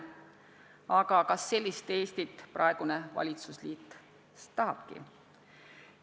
Aga kas sellist Eestit praegune valitsusliit tahabki?